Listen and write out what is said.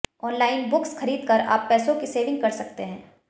online books खरीद कर आप पैसों की सेविंग कर सकते हैं